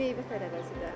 Meyvə-tərəvəzi də.